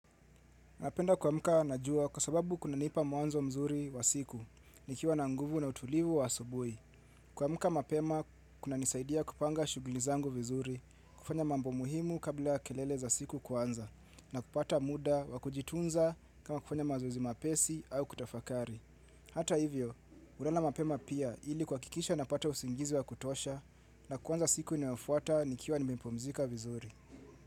Napenda kuamka najua kwa sababu kuna nipa mwanzo mzuri wa siku, nikiwa na nguvu na utulivu wa asubui. Kuamka mapema kuna nisaidia kupanga shuguli zangu vizuri, kufanya mambo muhimu kabla ya kelele za siku kwanza, na kupata muda wa kujitunza kama kufanya mazuzi mapesi au kutafakari. Hata hivyo, ulala mapema pia ili kuaha kikisha napata usingizi wa kutosha, na kwanza siku inafuata nikiwa nimepumzika vizuri.